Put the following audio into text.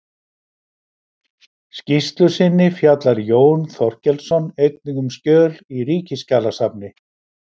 skýrslu sinni fjallar Jón Þorkelsson einnig um skjöl í Ríkisskjalasafni